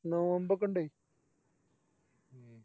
നോമ്പോക്കിണ്ട്